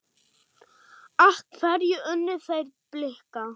Af hverju unnu þeir Blika?